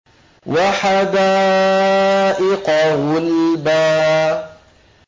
وَحَدَائِقَ غُلْبًا